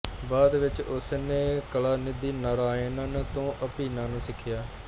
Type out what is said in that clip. ਬਾਅਦ ਵਿਚ ਉਸ ਨੇ ਕਲਾਨਿਧੀ ਨਰਾਇਣਨ ਤੋਂ ਅਭੀਨਾ ਨੂੰ ਸਿੱਖਿਆ